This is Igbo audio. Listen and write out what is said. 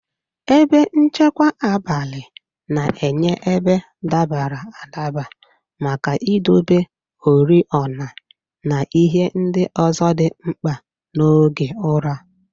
Ebe nchekwa abalị na-enye ebe dabara adaba maka idobe oriọna, na ihe ndị ọzọ dị mkpa n'oge ụra.